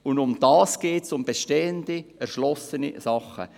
Um das geht es, um bestehende, erschlossene Gebäude.